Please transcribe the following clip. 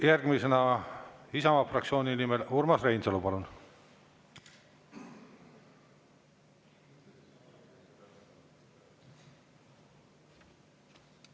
Järgmisena Isamaa fraktsiooni nimel Urmas Reinsalu, palun!